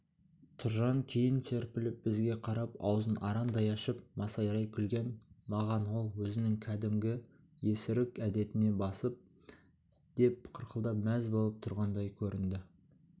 тұржан кейін серпіліп бізге қарап аузын арандай ашып масайрай күлген маған ол өзінің кәдімгі есірік әдетіне басып деп қарқылдап мәз болып тұрғандай көрінді